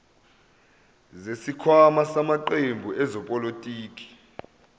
zesikhwama samaqembu ezepolitiki